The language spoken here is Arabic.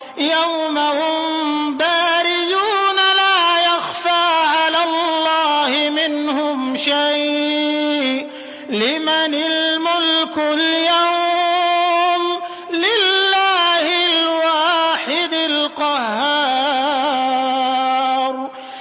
يَوْمَ هُم بَارِزُونَ ۖ لَا يَخْفَىٰ عَلَى اللَّهِ مِنْهُمْ شَيْءٌ ۚ لِّمَنِ الْمُلْكُ الْيَوْمَ ۖ لِلَّهِ الْوَاحِدِ الْقَهَّارِ